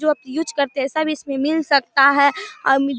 जो आप यूज करते है सब इसमे मिल सकता है और मू--